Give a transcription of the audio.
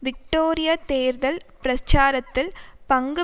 Victoria தேர்தல் பிரச்சாரத்தில் பங்கு